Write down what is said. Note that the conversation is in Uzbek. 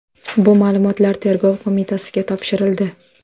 Bu ma’lumotlar Tergov qo‘mitasiga topshirildi.